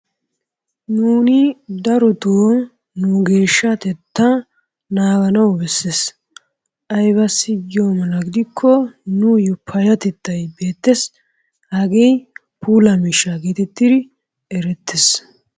Nuuni darotoo nu geeshahatettaa naaganawu bessees. Aybassi giyo mala gidikko nuuyo payyatettay beettees. Hagee puulaa miishshaa geetettidi erettees.